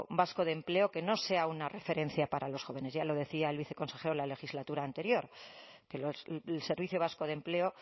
vasco de empleo que no sea una referencia para los jóvenes ya lo decía el viceconsejero en la legislatura anterior que el servicio vasco de empleo